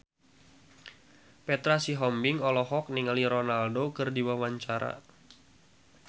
Petra Sihombing olohok ningali Ronaldo keur diwawancara